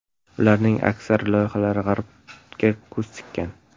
Ularning aksar loyihalari G‘arbga ko‘z tikkan.